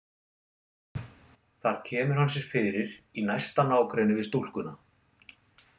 Þar kemur hann sér fyrir í næsta nágrenni við stúlkuna.